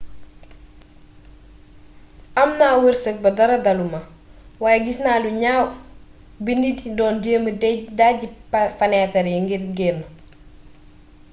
amna weerseek ba dara daluma waye gisna lu gnaw bi nit yi doon jéma dejji fanétar yi ngir génn